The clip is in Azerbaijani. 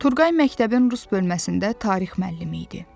Turqay məktəbin rus bölməsində tarix müəllimi idi.